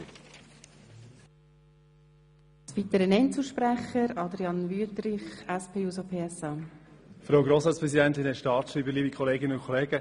Ich muss dem Motionär hier noch kurz für seinen Vorstoss danken.